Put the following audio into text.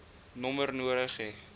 nommer nodig hê